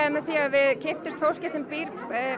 því við kynntumst fólki sem býr